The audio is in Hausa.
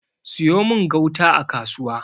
siyo min gauta a kasuwa!